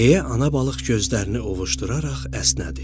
deyə ana balıq gözlərini ovuşduraraq əsnədi.